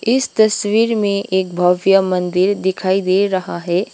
इस तस्वीर में एक भव्य मंदिर दिखाई दे रहा है।